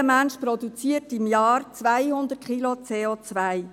Jeder Mensch produziert im Jahr 200 Kilo CO.